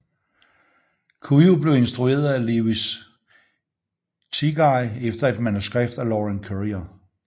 Cujo blev instrueret af Lewis Teague efter et manuskript af Lauren Currier